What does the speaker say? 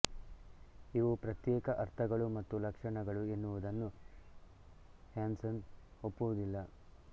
ಇವು ಪ್ರತ್ಯೇಕ ಅರ್ಥಗಳು ಮತ್ತು ಲಕ್ಷಣಗಳು ಎನ್ನುವುದನ್ನು ಹ್ಯಾನ್ಸನ್ ಒಪ್ಪುವುದಿಲ್ಲ